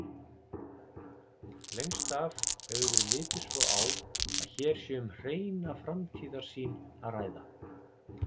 Lengst af hefur verið litið svo á að hér sé um hreina framtíðarsýn að ræða.